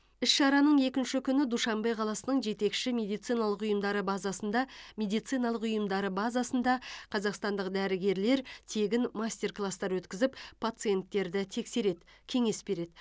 іс шараның екінші күні душанбе қаласының жетекші медициналық ұйымдары базасында медициналық ұйымдары базасында қазақстандық дәрігерлер тегін мастер класстар өткізіп пациенттерді тексереді кеңес береді